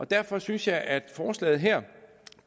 derfor synes jeg at forslaget her